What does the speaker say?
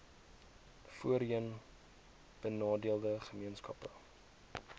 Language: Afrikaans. voorheen benadeelde gemeenskappe